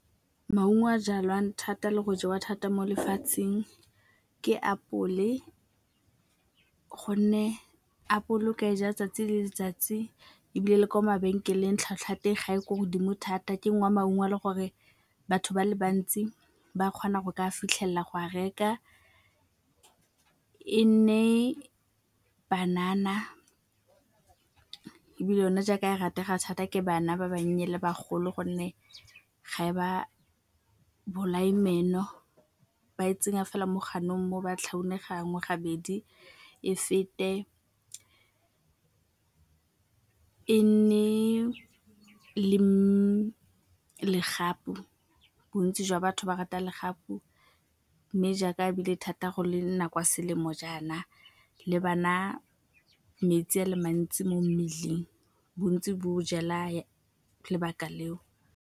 Maungo a jalwang thata le go jewa thata mo lefatsheng ke apole gonne apole o ka e ja 'tsatsi le letsatsi ebile le kwa mabenkeleng tlhwatlhwa ya teng ga e ko godimo thata. Ke nngwe ya maungo a le gore batho ba le bantsi ba kgona go ka fitlhelela go a reka. E nne banana, ebile yone jaaka e ratega thata ke bana ba bannye le bagolo gonne ga e ba bolaye meno, ba e tsenya fela mo ganong mo ba tlhaunang gangwe, gabedi e fete. E nne legapu, bontsi jwa batho ba rata legapu mme jaaka ebile thata gole nako ya selemo jaana le ba na metsi a le mantsi mo mmeleng bontsi bo jela lebaka le o.